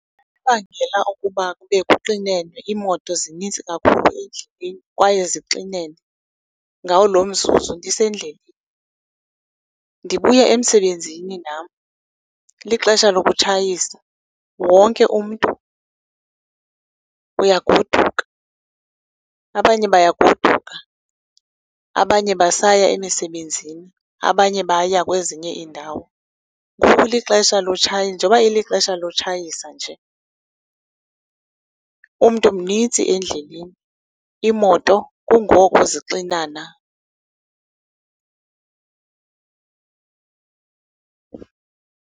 bangela okuba kube kuxinene, iimoto zininzi kakhulu endleleni kwaye zixinene ngawo lo mzuzu, ndisendleleni. Ndibuye emsebenzini nam, lixesha lokutshayisa, wonke umntu uyagoduka. Abanye bayagoduka, abanye basaya emisebenzini, abanye baya kwezinye iindawo. Ngoku lixesha njengoba ilixesha lotshayisa nje, umntu mnintsi endleleni, iimoto kungoku zixinana.